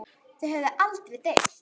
Þau höfðu aldrei deilt.